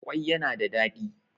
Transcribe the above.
kwai yana da dadi